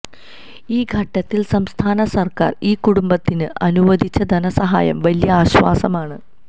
ഈ ഘട്ടത്തിൽ സംസ്ഥാന സർക്കാർ ഈ കുടുംബത്തിന് അനുവദിച്ച ധനസഹായം വലിയ ആശ്വാസമാണ്